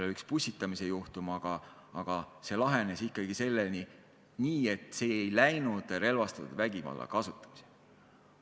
Oli üks pussitamise juhtum, aga see lahenes nii, et asi ei läinud relvastatud vägivalla kasutamiseni.